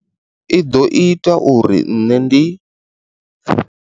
I ḓo ita uri nṋe ndi.